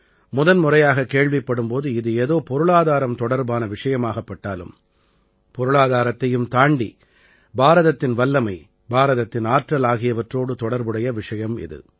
முதன்முறையாகக் கேள்விப்படும் போது இது ஏதோ பொருளாதாரம் தொடர்பான விஷயமாகப் பட்டாலும் பொருளாதாரத்தையும் தாண்டி பாரதத்தின் வல்லமை பாரதத்தின் ஆற்றல் ஆகியவற்றோடு தொடர்புடைய விஷயம் இது